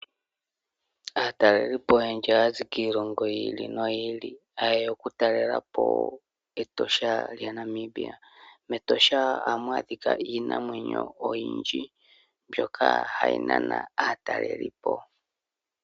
Aatalelipo oyendji ohaya zi kiilongo yi ili noyi ili haye ya okutalela po Etosha lyaNamibia. MEtosha ohamu adhika iinamwenyo oyindji mbyoka hayi nana aatalelipo.